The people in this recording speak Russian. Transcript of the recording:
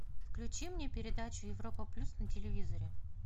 включи мне передачу европа плюс на телевизоре